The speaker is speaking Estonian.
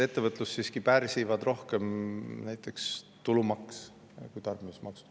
Ettevõtlust pärsib siiski rohkem näiteks tulumaks, mitte tarbimismaksud.